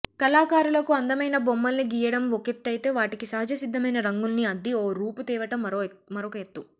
కళాకారులకు అందమైన బొమ్మల్ని గీయడం ఒకెత్తయితే వాటికి సహజ సిద్ధమైన రంగుల్ని అద్ది ఓ రూపు తేవటం మరొకఎత్తు